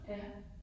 Ja